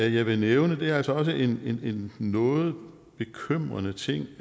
jeg vil nævne er altså også en noget bekymrende ting